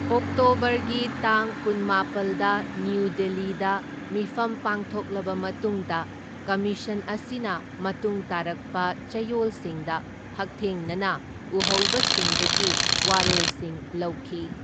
ꯑꯣꯛꯇꯣꯕꯔꯒꯤ ꯇꯥꯡ ꯀꯨꯟꯃꯥꯄꯜꯗ ꯅ꯭ꯌꯨ ꯗꯤꯜꯂꯤꯗ ꯃꯤꯐꯝ ꯄꯥꯡꯊꯣꯛꯂꯕ ꯃꯇꯨꯡꯗ ꯀꯝꯃꯤꯁꯟ ꯑꯁꯤꯅ ꯃꯇꯨꯡ ꯇꯥꯔꯛꯄ ꯆꯌꯣꯜꯁꯤꯡꯗ ꯍꯛꯊꯦꯡꯅꯅ ꯎꯍꯧꯕꯁꯤꯡꯗꯒꯤ ꯋꯥꯔꯣꯜꯁꯤꯡ ꯂꯧꯈꯤ꯫